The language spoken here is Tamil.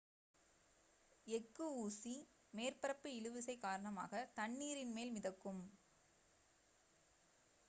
எஃகு ஊசி மேற்பரப்பு இழுவிசை காரணமாக தண்ணீரின் மேல் மிதக்கும்